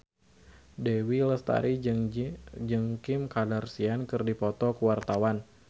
Dewi Lestari jeung Kim Kardashian keur dipoto ku wartawan